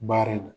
Baara in na